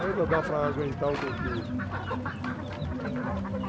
Ainda dá para aguentar um pouquinho. O quê que